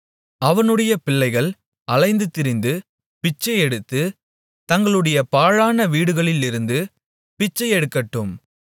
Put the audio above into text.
அவனுடைய பிள்ளைகள் அலைந்து திரிந்து பிச்சையெடுத்து தங்களுடைய பாழான வீடுகளிலிருந்து பிச்சை எடுக்கட்டும்